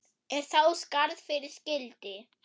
Er þá skarð fyrir skildi.